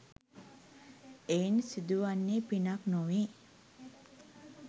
එයින් සිදුවන්නේ පිනක් නොවේ.